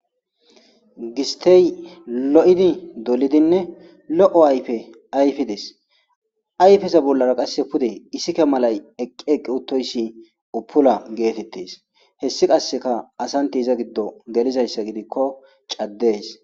Gistey lo'idi dolidinne lo"o ayfe ayfides ayfeza bollara qasse pude isika malay eqqi eqqi uttoyssi upula geetettes hessi qasseka asanti iza giddo gelizayssa gidikko caddees.